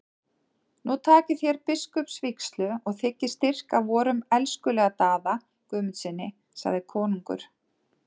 Nú takið þér biskupsvígslu og þiggið styrk af vorum elskulega Daða Guðmundssyni, sagði konungur.